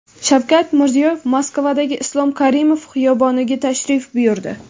Shavkat Mirziyoyev Moskvadagi Islom Karimov xiyoboniga tashrif buyurdi .